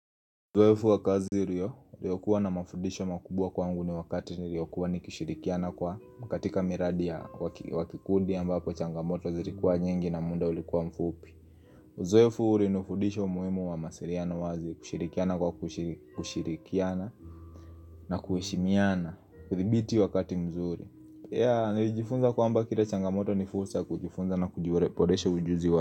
Uzoefu wakazi rio, iliyokuwa na mafudisho makubwa kwangu ni wakati niliyokuwa nikushirikiana kwa makatika miradi ya wakikundi ambapo changamoto wazilikuwa nyingi na muda ulikuwa mfupi Uzoefu ulinufudisho muhimu wa mawasiriano wazi kushirikiana kwa kushirikiana na kuheshimiana kudhibiti wakati mzuri ya, nijifunza kwa amba kira changamoto nifursa kujifunza na kujifunza na kujiboreshe ujuzi wako.